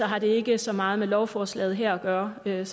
har det ikke så meget med lovforslaget her at gøre så jeg